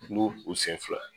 u sen fila.